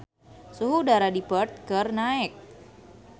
Suhu udara di Perth keur naek